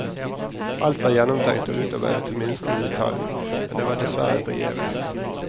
Alt var gjennomtenkt og utarbeidet til minste detalj, men det var dessverre forgjeves.